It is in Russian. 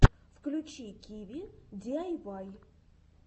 включи киви диайвай